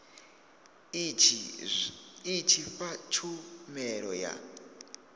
i tshi fha tshumelo ya